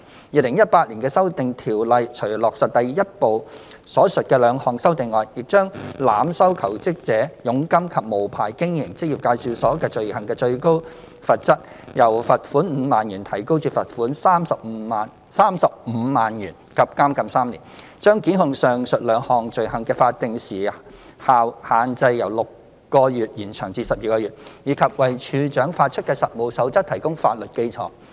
2018年的《修訂條例》除落實第一部分所述的兩項修訂外，亦將濫收求職者佣金及無牌經營職業介紹所罪行的最高罰則，由罰款5萬元提高至罰款35萬元及監禁3年；將檢控上述兩項罪行的法定時效限制由6個月延長至12個月；以及為處長發出的《實務守則》提供法律基礎。